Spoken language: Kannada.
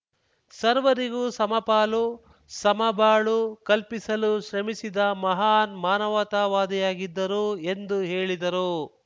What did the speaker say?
ಸರ್ವರಿಗೂ ಸಮಪಾಲು ಸಮಬಾಳು ಕಲ್ಪಿಸಲು ಶ್ರಮಿಸಿದ ಮಹಾನ್‌ ಮಾನವತಾವಾದಿಯಾಗಿದ್ದರು ಎಂದು ಹೇಳಿದರು